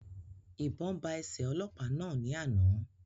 Ìbọn ba ẹsẹ ọlọ́pàá náà ní àna